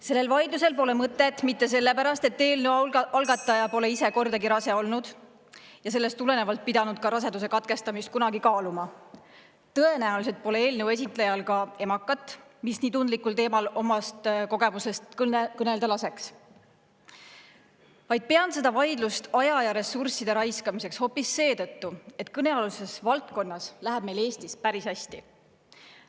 Sellel vaidlusel pole mõtet mitte sellepärast , et eelnõu algataja pole ise kordagi rase olnud ja sellest tulenevalt pidanud kunagi kaaluma raseduse katkestamist – tõenäoliselt pole eelnõu esitlejal ka emakat, mis nii tundlikul teemal omast kogemusest kõnelda laseks –, vaid pean seda vaidlust aja ja ressursside raiskamiseks hoopis seetõttu, et kõnealuses valdkonnas läheb meil Eestis päris hästi.